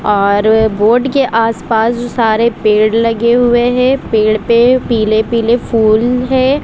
और बोर्ड के आस पास सारे पेड़ लगे हुए है पेड़ पे पीले पीले फूल है।